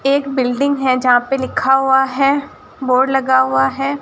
एक बिल्डिंग है जहां पे लिखा हुआ है बोर्ड लगा हुआ है।